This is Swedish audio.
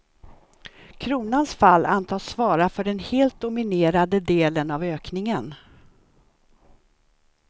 Kronans fall antas svara för den helt dominerande delen av ökningen.